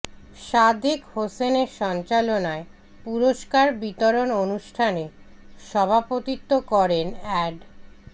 সাদেক হোসেনের সঞ্চালনায় পুরস্কার বিতরণ অনুষ্ঠানে সভাপতিত্ব করেন অ্যাড